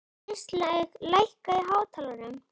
Kristlaug, lækkaðu í hátalaranum.